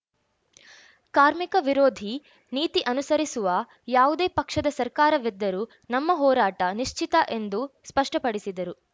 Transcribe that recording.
ಕಾರ್ಮಿಕ ವಿರೋಧಿ ನೀತಿ ಅನುಸರಿಸುವ ಯಾವುದೇ ಪಕ್ಷದ ಸರ್ಕಾರವಿದ್ದರೂ ನಮ್ಮ ಹೋರಾಟ ನಿಶ್ಚಿತ ಎಂದು ಸ್ಪಷ್ಟಪಡಿಸಿದರು